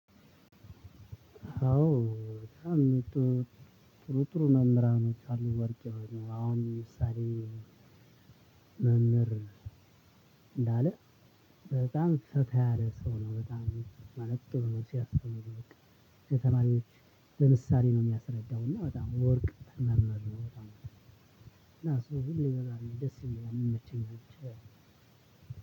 አዎ። ጥሩ ጥሩ መምህራኖች አሉ ወርቅ የሆኑ አሁን ምሳሌ መምህር እንዳለ በጣም ፈታ ያለ ሰው ነው። ማለት ደግሞ ሲያስተምር በቃ ለተማሪዎች በምሳሌ ነው የሚያስረዳው እና። እሱ በቃ ደስ የሚለኝ።